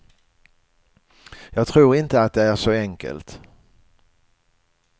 Jag tror inte att det är så enkelt.